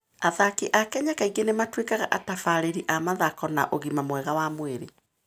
Athaki a Kenya kaingĩ nĩ matuĩkaga atabarĩri a mathako na ũgima mwega wa mwĩrĩ.